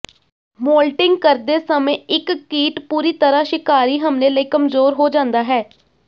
moulting ਕਰਦੇ ਸਮੇਂ ਇੱਕ ਕੀਟ ਪੂਰੀ ਤਰ੍ਹਾਂ ਸ਼ਿਕਾਰੀ ਹਮਲੇ ਲਈ ਕਮਜ਼ੋਰ ਹੋ ਜਾਂਦਾ ਹੈ